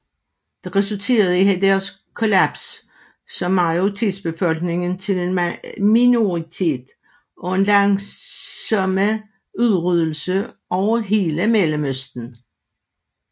Dette resulterede i deres kollaps som majoritetsbefolkning til en minoritet og en langsomme udryddelse over hele Mellemøsten